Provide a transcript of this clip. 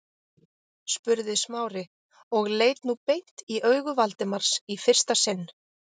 spurði Smári og leit nú beint í augu Valdimars í fyrsta sinn.